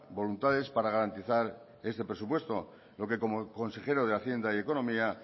voluntades para garantizar este presupuesto lo que como consejero de hacienda y economía